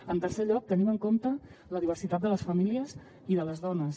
en tercer lloc tenim en compte la diversitat de les famílies i de les dones